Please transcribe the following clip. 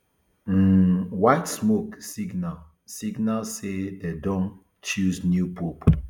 um white smoke signal signal say dem don choose new pope